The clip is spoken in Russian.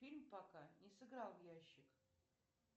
фильм пока не сыграл в ящик